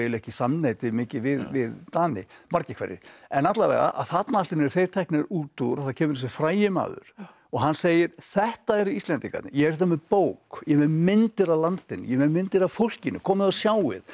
ekki samneyti mikið við Dani margir hverjir en þarna allt í einu eru þeir teknir út úr og það kemur þessi frægi maður og hann segir þetta eru Íslendingarnir ég er hérna með bók ég er með myndir af landinu ég er með myndir af fólkinu komið og sjáið